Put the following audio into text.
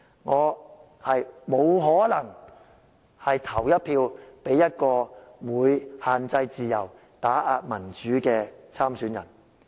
我不可能投票給限制自由、打壓民主的候選人。